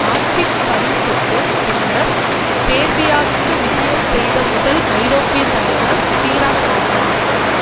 ஆட்சிகவிழ்ப்புக்கு பின்னர் சேர்பியாவுக்கு விஜயம் செய்த முதல் ஐரோப்பிய தலைவர் சிறாக் ஆவார்